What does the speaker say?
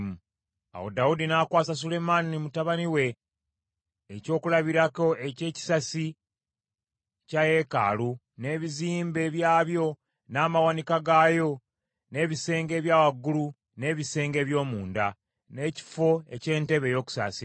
Awo Dawudi n’akwasa Sulemaani mutabani we ekyokulabirako eky’ekisasi kya yeekaalu, n’ebizimbe byabyo, n’amawanika gaayo, n’ebisenge ebya waggulu, n’ebisenge eby’omunda, n’ekifo eky’entebe ey’okusaasira.